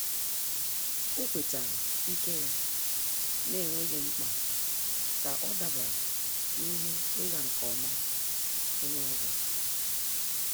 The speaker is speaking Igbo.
Ọ́ kwétárà ike ya n’énwéghị́ mkpa kà ọ́ dàbàrà na ihe ịga nke ọma onye ọzọ.